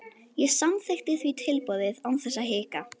Ég samþykkti því tilboðið án þess að hika.